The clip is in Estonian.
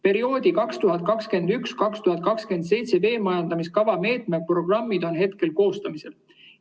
" Perioodi 2021–2027 veemajandamiskava meetmeprogrammid on koostamisel.